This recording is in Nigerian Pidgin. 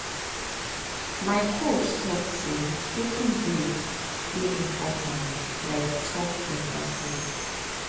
my coach talk say taking break dey important like chop better food